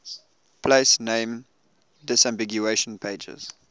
place name disambiguation pages